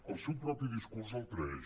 el seu propi discurs el traeix